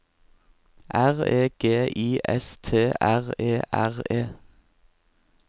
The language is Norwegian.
R E G I S T R E R E